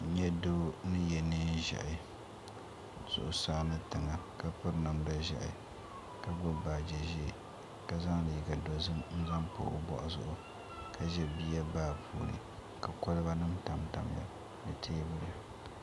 N yɛ doo ni yiɛ liiga zɛɛhi zuɣusaa ni tiŋa ka piri namda zɛhi ka gbubi baaji zɛɛ ka zaŋ liiga dozim n zaŋ pa o bɔɣu zuɣu ka zɛ biya baa puuni ka koliba nima tam tam ya ni tɛɛbuli.